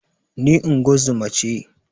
Ni ingozuma ce